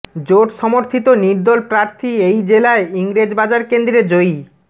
জোট সমর্থিত নির্দল প্রার্থী এই জেলায় ইংরেজবাজার কেন্দ্রে জয়ী